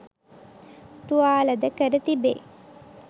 තුවාල ද කර තිබේ